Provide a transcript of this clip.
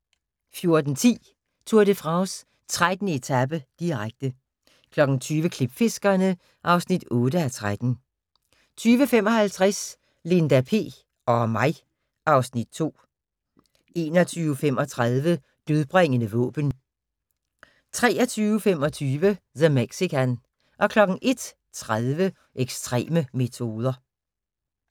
14:10: Tour de France: 13. etape, direkte 20:00: Klipfiskerne (8:13) 20:55: Linda P... og mig (Afs. 2) 21:35: Dødbringende våben 23:25: The Mexican 01:30: Ekstreme metoder